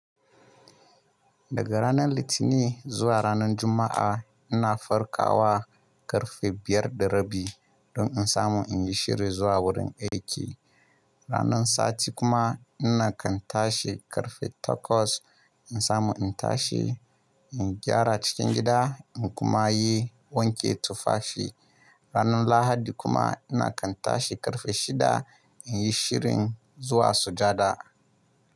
Daga ranar Litinin zuwa ranar Juma'a ina farkawa ƙarfe biyar da rabi don in samu in yi shiri zuwa wurin aiki. Ranar sati kuma ina kan tashi ƙarfe takwas in samu in tashi in gyara cikin gida in kuma yi wanke tufafi. Ranar Lahadi kuma ina kan tashi ƙarfe shida in yi shirin zuwa sujada.